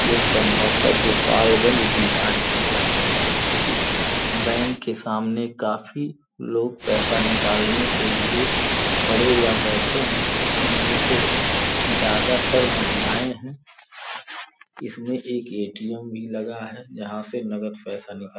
जो संभवत गोपालगंज बिहार की है। इस बैंक के सामने काफी लोग पैसा निकालने के लिए खड़े या बैठे हैं। इनमे से ज्यादा तर महिलाएं हैं। इसमें एक एटीअम भी लगा है। जहाँ से नगद पैसा निकाल --